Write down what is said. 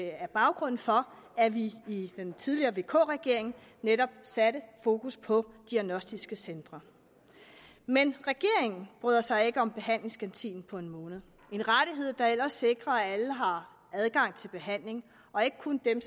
er baggrunden for at vi i den tidligere vk regering netop satte fokus på diagnostiske centre men regeringen bryder sig ikke om behandlingsgarantien på en måned en rettighed der ellers sikrer at alle har adgang til behandling og ikke kun dem